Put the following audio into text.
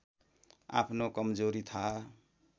आफ्नो कमजोरी थाहा